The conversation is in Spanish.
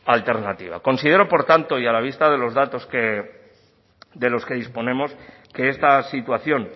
alternativa considero por tanto y a la vista de los datos de los que disponemos que esta situación